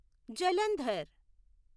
Jalandhar